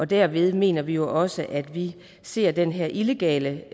derved mener vi jo også at vi ser den her illegale